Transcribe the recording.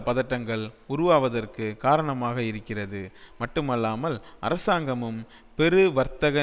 பதட்டங்கள் உருவாவதற்கு காரணமாக இருக்கிறது மட்டுமல்லாமல் அரசாங்கமும் பெரு வர்த்தக